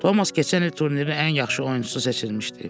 Tomas keçən il turnirin ən yaxşı oyunçusu seçilmişdi.